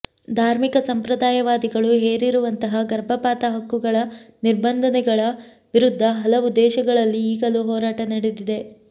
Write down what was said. ಧಾರ್ಮಿಕ ಸಂಪ್ರದಾಯವಾದಿಗಳು ಹೇರಿರುವಂತಹ ಗರ್ಭಪಾತ ಹಕ್ಕುಗಳ ನಿರ್ಬಂಧಗಳ ವಿರುದ್ಧ ಹಲವು ದೇಶಗಳಲ್ಲಿ ಈಗಲೂ ಹೋರಾಟ ನಡೆದಿದೆ